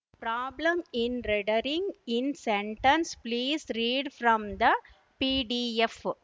problem in rendering in sentence please read from the PDF